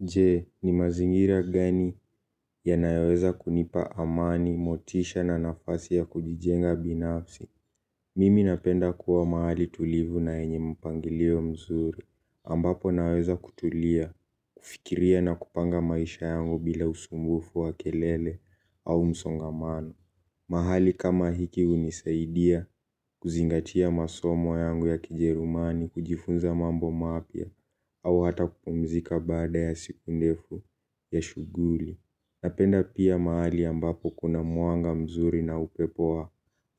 Je, ni mazingira gani yanayoweza kunipa amani, motisha na nafasi ya kujijenga binafsi. Mimi napenda kuwa mahali tulivu na yenye mpangilio mzuri, ambapo naweza kutulia, kufikiria na kupanga maisha yangu bila usumbufu wa kelele au msongamano. Mahali kama hiki hunisaidia kuzingatia masomo yangu ya kijerumani, kujifunza mambo mapya, au hata kupumzika baada ya siku ndefu ya shughuli. Napenda pia mahali ambapo kuna mwanga mzuri na upepo wa